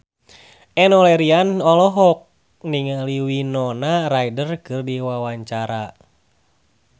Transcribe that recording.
Enno Lerian olohok ningali Winona Ryder keur diwawancara